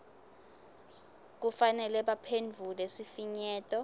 kufanele baphendvule sifinyeto